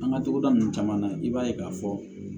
An ka togoda ninnu caman na i b'a ye k'a fɔ